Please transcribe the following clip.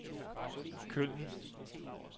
Køln